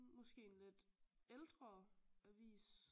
Måske en lidt ældre avis